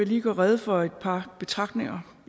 lige gøre rede for et par betragtninger